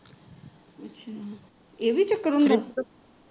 ਅੱਛਾ ਇਹ ਵੀ ਚੱਕਰ ਹੁੰਦਾ